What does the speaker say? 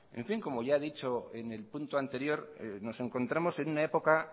como ya he dicho en el punto anterior nos encontramos en una época